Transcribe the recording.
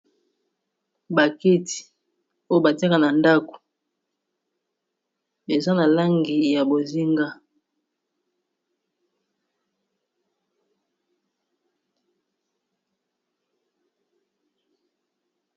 Ba kiti oyo batiaka na ndako eza na langi ya bozinga.